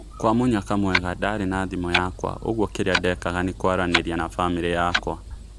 Kwa mũnyaka mwega ndarĩ na thiimũ yakwa ũguo kĩrĩa ndekaga nĩ kwaranĩria na bamĩrĩ yakwa.